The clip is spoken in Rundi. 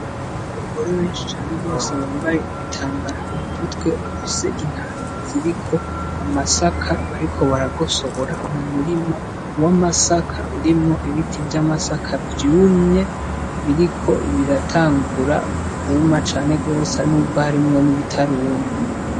Abagore benshi cane gose bambay'ibitambara mu m'umutwe bafise intaro ziriko amasaka bariko baragosora, umurima w'amasaka urimwo ibiti vy'amasaka vyumye, biriko biratangura kuma cane gose n'ubwo harimwo n'ibitaruma.